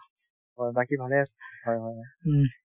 হয়, বাকি ভালে আছো হয় হয় হয়